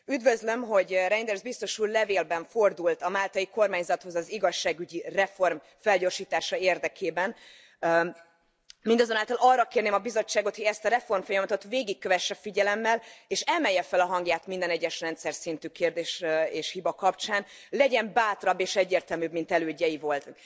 Üdvözlöm, hogy Reynders biztos úr levélben fordult a máltai kormányzathoz az igazságügyi reform felgyorsítása érdekében, mindazonáltal arra kérném a Bizottságot, hogy ezt a reformfolyamatot végig kövesse figyelemmel, és emelje fel a hangját minden egyes rendszerszintű kérdés és hiba kapcsán, legyen bátrabb és egyértelműbb, mint elődjei voltak.